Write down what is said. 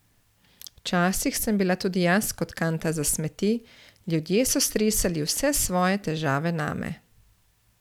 Včasih sem bila tudi jaz kot kanta za smeti, ljudje so stresali vse svoje težave name.